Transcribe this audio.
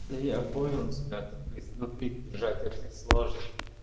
я понял тебя только изнутри держать очень сложно